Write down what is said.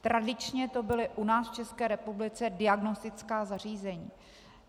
Tradičně to byla u nás v České republice diagnostická zařízení.